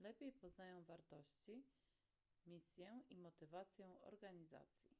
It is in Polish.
lepiej poznają wartości misję i motywację organizacji